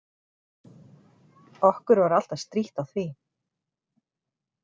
Okkur var alltaf strítt á því.